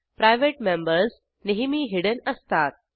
private members नेहमी hidden असतात